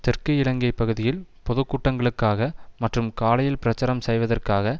தெற்கு இலங்கை பகுதியில் பொதுக்கூட்டங்களுக்காக மற்றும் காலியில் பிரச்சாரம் செய்வதற்காக